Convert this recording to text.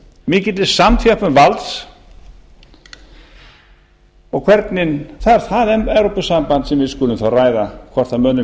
mikilli samþjöppun valds og það er það evrópusamband sem við skulum þá ræða hvort mönnum